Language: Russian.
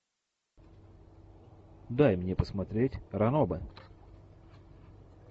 дай мне посмотреть ранобэ